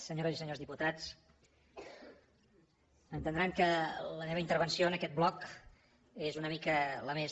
senyores i senyors diputats entendran que la meva intervenció en aquest bloc és una mica la més